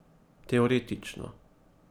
Teoretično ...